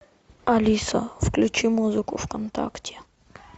алиса включи музыку вконтакте